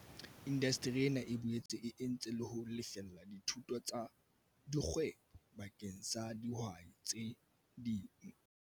Indasteri ena e boetse e entse le ho lefella dithuto tsa kgwebo bakeng sa dihwai tse